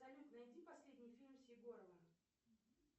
салют найди последний фильм с егоровым